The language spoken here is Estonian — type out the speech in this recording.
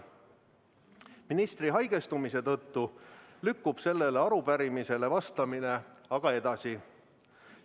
Ministri haigestumise tõttu lükkub sellele arupärimisele vastamine aga edasi.